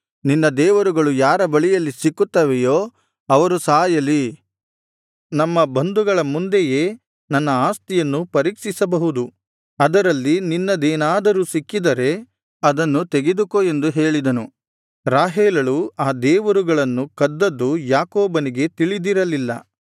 ನಿನ್ನ ದೇವರುಗಳು ಯಾರ ಬಳಿಯಲ್ಲಿ ಸಿಕ್ಕುತ್ತವೆಯೋ ಅವರು ಸಾಯಲಿ ನಮ್ಮ ಬಂಧುಗಳ ಮುಂದೆಯೇ ನನ್ನ ಆಸ್ತಿಯನ್ನು ಪರೀಕ್ಷಿಸಬಹುದು ಅದರಲ್ಲಿ ನಿನ್ನದೇನಾದರೂ ಸಿಕ್ಕಿದರೆ ಅದನ್ನು ತೆಗೆದುಕೋ ಎಂದು ಹೇಳಿದನು ರಾಹೇಲಳು ಆ ದೇವರುಗಳನ್ನು ಕದ್ದದ್ದು ಯಾಕೋಬನಿಗೆ ತಿಳಿದಿರಲಿಲ್ಲ